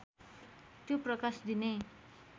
त्यो प्रकाश दिने